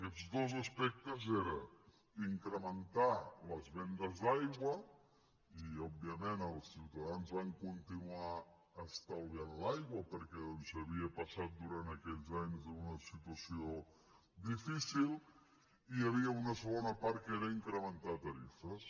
aquests dos aspectes eren incrementar les vendes d’aigua i òbviament els ciutadans van continuar estalviant l’aigua perquè doncs s’havia passat durant aquells anys una situació difícil i hi havia una segona part que era incrementar tarifes